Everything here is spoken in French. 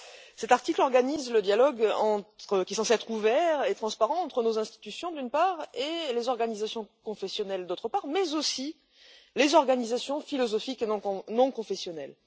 Cet article organise le dialogue, qui est censé être ouvert et transparent, entre nos institutions, d'une part, et les organisations confessionnelles, d'autre part, mais aussi les organisations philosophiques et non confessionnelles.